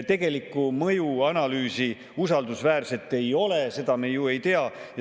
Tegelikku usaldusväärset mõjuanalüüsi ei ole ja seda me ju ei tea.